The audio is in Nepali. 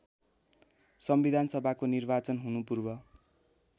संविधानसभाको निर्वाचन हुनुपूर्व